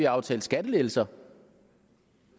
aftalt skattelettelser